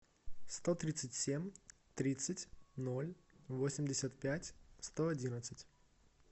сто тридцать семь тридцать ноль восемьдесят пять сто одинадцать